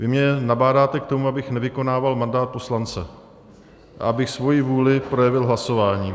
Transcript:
Vy mě nabádáte k tomu, abych nevykonával mandát poslance, abych svoji vůli neprojevil hlasováním.